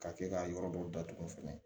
Ka kɛ ka yɔrɔ dɔw datugu fɛnɛ